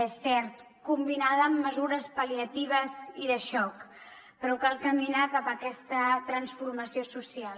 és cert que combinada amb mesures pal·liatives i de xoc però cal caminar cap a aquesta transformació social